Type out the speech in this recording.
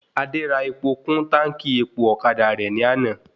Adé rà epo kún táńkì epo ọ̀kadà rẹ̀ ní àná